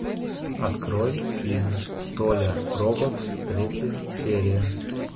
открой фильм толя робот третья серия